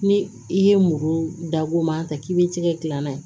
Ni i ye muru dagoman ta k'i b'i tigɛ gilan ye